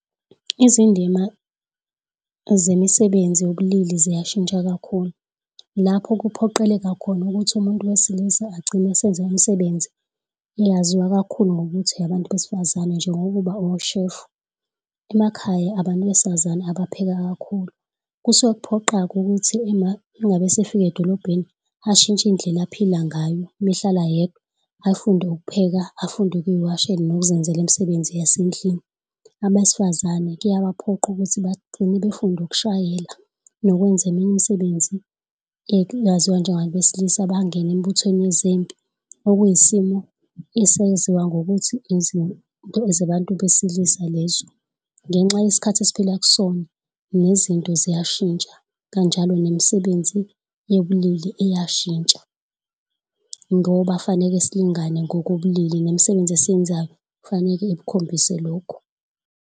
Izindima zemisebenzi yobulili ziyashintsha kakhulu lapho kuphoqeleka khona ukuthi umuntu wesilisa agcine esenza imisebenzi eyaziwa kakhulu ngokuthi eyabantu besifazane njengokuba ushefu, emakhaya abantu besifazane abapheka kakhulu. Kusuke kuphoqa-ke ukuthi ena uma ngabe sekufika edolobheni ashintshe indlela aphile ngayo uma ehlala yedwa, afunde ukupheka afunde ukuziwashela noma ukuzenzela imisebenzi yasendlini. Abesifazane kuyabaphoqa ukuthi bagcine befunda ukushayela nokwenza eminye imisebenzi eyaziwa njengeyabantu besilisa bangene embuthweni wezimpi okwiyisimo esaziwa ngokuthi izinto zabantu besilisa lez. Ngenxa yesikhathi esphila kusona izinto ziyashintsha kanjalo nemisebenzi yobulili iyashintsha ngoba kufanele silingane ngokobulili nemisebenzi esiyenzayo kufaneke ikukhombise lokhu.